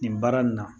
Nin baara nin na